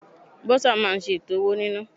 Bursar máa ń ṣe ètò owó nina.